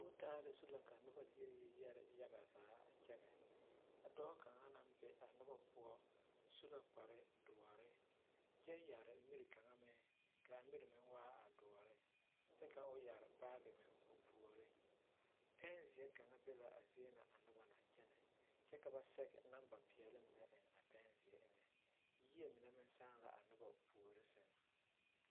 Kootaale zu la ka noba yɔ yɛre yaɡa zaa a kyɛnɛ ka dɔɔ kaŋa na be a noba poɔ su la kpardoɔre kyɛ yɛre miri kaŋa meŋ ka a miri meŋ waa a doɔre kyɛ ka o yɛre baaɡe meŋ o puoriŋ oɛnzeɛ kaŋ be la a zie na a noba na kyɛnɛ kyɛ ka ba sɛɡe namba peɛle mine eŋ a pɛnzeɛ eŋɛ yie mine meŋ sãã la a noba puori sɛŋ.